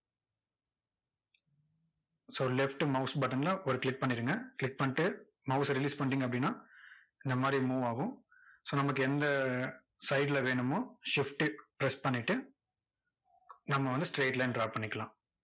so left mouse button ல ஒரு click பண்ணிக்கங்க click பண்ணிட்டு mouse ச release பண்ணிட்டீங்க அப்படின்னா, இந்த மாதிரி move ஆகும் so நமக்கு எந்த side ல வேணுமோ shift press பண்ணிட்டு, நம்ம வந்து straight line draw பண்ணிக்கலாம்.